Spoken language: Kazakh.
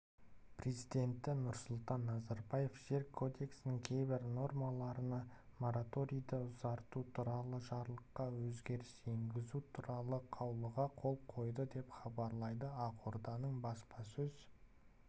президенті нұрсұлтан назарбаев жер кодексінің кейбір нормаларына мораторийді ұзарту туралы жарлыққа өзгеріс енгізу туралы қаулығы қол қойды деп хабарлайды ақорданың баспасөз